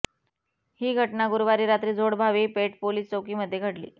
ही घटना गुरुवारी रात्री जोडभावी पेठ पोलिस चौकीमध्ये घडली